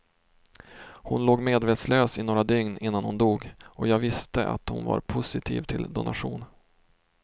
Hon låg medvetslös några dygn innan hon dog, och jag visste att hon var positiv till donation.